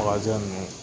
Wa jɛnni